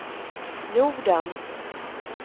jorden